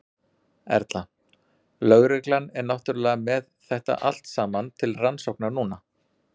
Erla: Lögreglan er náttúrulega með þetta allt saman til rannsóknar núna?